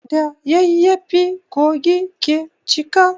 Da yayyafi kogi ke cika.